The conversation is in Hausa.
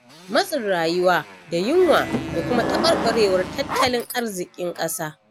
Matsin rayuwa da yunwa da kuma taɓarɓarewar tattalin arziƙin ƙasa.